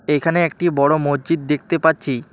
এখানে একটি বড় মজ্জিদ দেখতে পাচ্ছি।